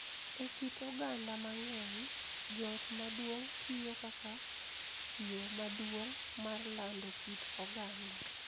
E kit oganda mang�eny, joot maduong� tiyo kaka yo maduong� mar lando kit oganda,